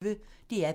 DR P1